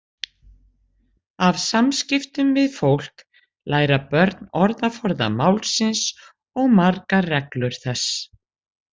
Af samskiptum við fólk læra börn orðaforða málsins og margar reglur þess.